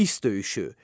İs döyüşü.